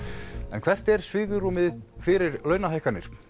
en hvert er svigrúmið fyrir launahækkanir